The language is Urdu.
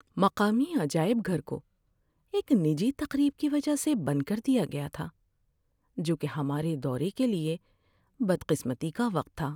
مقامی عجائب گھر کو ایک نجی تقریب کی وجہ سے بند کر دیا گیا تھا، جو کہ ہمارے دورے کے لیے بدقسمتی کا وقت تھا۔